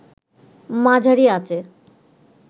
মাঝারি আঁচে